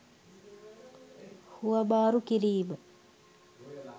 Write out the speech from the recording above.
හුවමාරු කිරීම